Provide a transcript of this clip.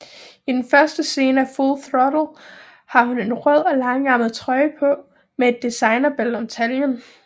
I den første scene af Full Throttle har hun en rød og langærmet trøje på med et designerbælte om taljen